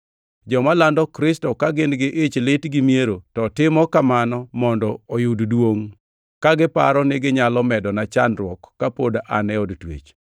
Joma lando Kristo ka gin-gi ich lit gi miero to timo kamano mondo oyud duongʼ, ka giparo niginyalo medona chandruok ka pod an e od twech.